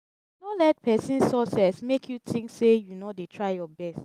no let pesin success mek yu tink sey yu no dey try yur best